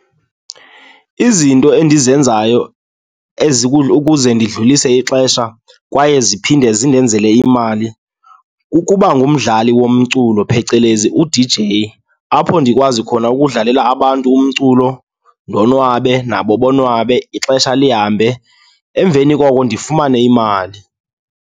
Izinto endizenzayo ukuze ndidlulise ixesha kwaye ziphinde zibenzele imali kukuba ngumdlali womculu, phecelezi u-D_J. Apho ndikwazi khona ukudlalela abantu umculo ndonwabe nabo bonwabe, ixesha lihambe, emveni koko ndifumane imali.